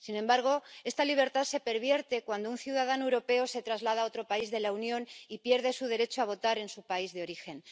Sin embargo, esta libertad se pervierte cuando un ciudadano europeo se traslada a otro país de la Unión y pierde su derecho de votar en su país de origen.